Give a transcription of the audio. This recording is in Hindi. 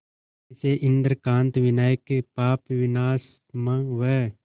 इसे इंद्रकांत विनायक पापविनाशम व